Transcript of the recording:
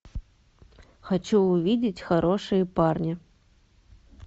хочу увидеть хорошие парни